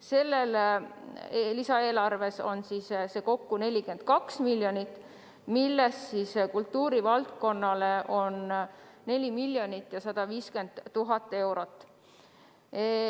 Selles lisaeelarves on toetusraha kokku 42 miljonit eurot, millest valdkonnale on 4 150 000 eurot.